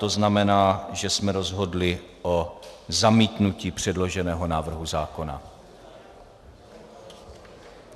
To znamená, že jsme rozhodli o zamítnutí předloženého návrhu zákona.